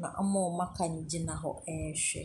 Na wɔn a wɔaka no gyina hɔ rehwɛ.